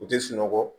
U tɛ sunɔgɔ